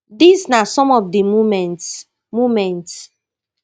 dis na some of di key moments moments